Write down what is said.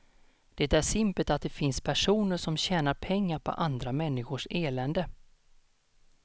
Det är simpelt att det finns personer som tjänar pengar på andra människors elände.